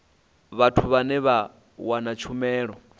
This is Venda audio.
vhathu vhane vha wana tshumelo